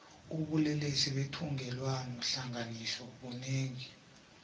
ubulelesi bethungelwano hlanganiso bunengi